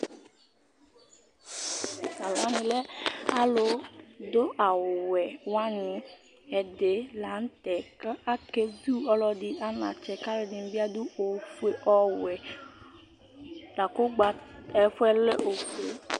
Ɛvɛ lɛ aluduawuwɛ wani Ɛdɩ la nʋ tɛ kʋ okezu ɔlɔdɩ anatsɛ, kʋ alu ɛdɩnɩ bɩ adu ofue, ɔwɛ, lakʋ ɛfʋɛ lɛ ofue